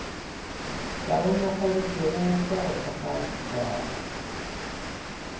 kaonafaditšwego ka go thekga setšhaba